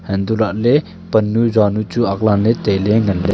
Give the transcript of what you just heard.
antoh lahley pannu jawnu chu aak lan leh tailey nganley.